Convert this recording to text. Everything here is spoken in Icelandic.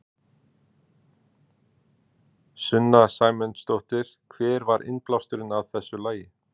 Sunna Sæmundsdóttir: Hver var innblásturinn að þessu lagi?